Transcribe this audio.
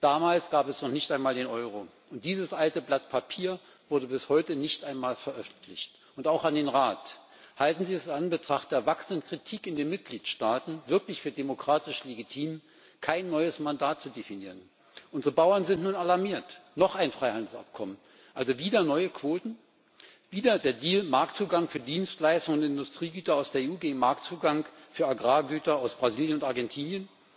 Damals gab es noch nicht einmal den Euro und dieses alte Blatt Papier wurde bis heute nicht einmal veröffentlicht. Und auch an den Rat Halten Sie es in Anbetracht der wachsenden Kritik in den Mitgliedstaaten wirklich für demokratisch legitim, kein neues Mandat zu definieren? Unsere Bauern sind nun alarmiert noch ein Freihandelsabkommen. Also wieder neue Quoten? Wieder der Deal, Marktzugang für Dienstleistungen und Industriegüter aus der EU gegen Marktzugang für Agrargüter aus Brasilien und Argentinien?